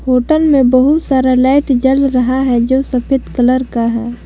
Hotel में बहुत सारा लाईट जल रहा है जो सफेद कलर का है।